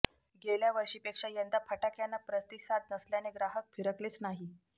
गेल्या वर्षीपेक्षा यंदा फटाक्यांना प्रतिसाद नसल्याने ग्राहक फिरकलेच नाही